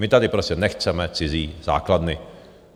My tady prostě nechceme cizí základny.